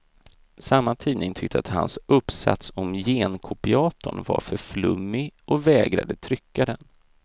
Samma tidning tyckte att hans uppsats om genkopiatorn var för flummig och vägrade trycka den.